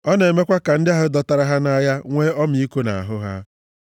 Ọ na-emekwa ka ndị ahụ dọtara ha nʼagha nwee ọmịiko nʼahụ ha.